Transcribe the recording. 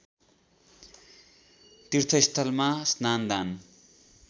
तीर्थस्थलमा स्नान दान